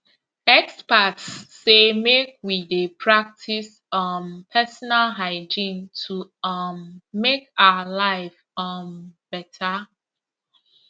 experts say make we dey practice um personal hygiene to um make our life um better